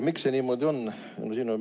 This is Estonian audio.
Miks see niimoodi on?